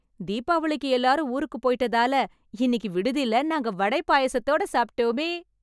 தீபாவளிக்கு எல்லாரும் ஊருக்கு போய்ட்டதால, இன்னிக்கி விடுதில நாங்க வடை பாயாசத்தோட சாப்ட்டோமே...